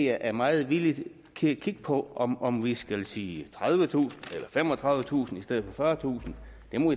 er meget villig til at kigge på om om vi skal sige tredivetusind eller femogtredivetusind i stedet for fyrretusind